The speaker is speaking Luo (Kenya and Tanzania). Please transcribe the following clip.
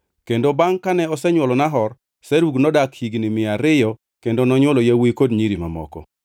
Kendo bangʼ kane osenywolo Nahor, Serug nodak higni mia ariyo kendo nonywolo yawuowi kod nyiri mamoko.